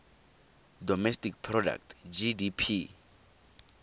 domestic product gdp